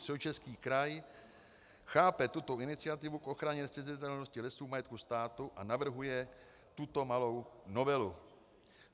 Středočeský kraj chápe tuto iniciativu k ochraně nezcizitelnosti lesů v majetku státu a navrhuje tuto malou novelu.